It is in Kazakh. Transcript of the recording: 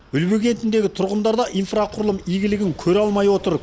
үлбі кентіндегі тұрғындар да инфрақұрылым игілігін көре алмай отыр